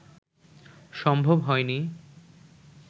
সম্ভব হয়নি